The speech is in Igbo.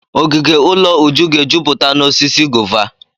Ogige ụlọ Uju ga-ejupụta n'osisi gova.